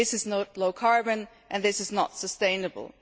This is not low carbon and this is not sustainable.